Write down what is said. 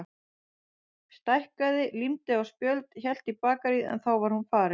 Stækkaði, límdi á spjöld, hélt í bakaríið en þá var hún farin.